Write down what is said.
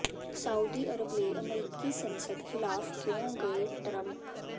Saudi Arab ਲਈ ਅਮਰੀਕੀ ਸੰਸਦ ਖਿਲਾਫ ਕਿਉਂ ਗਏ ਟਰੰਪ